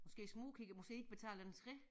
Måske smugkigger måske har de ikke betalt entré